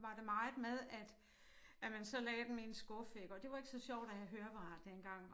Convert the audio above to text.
Var det meget med at at man så lagde dem i en skuffe iggå det var ikke så sjovt at have høreapparat dengang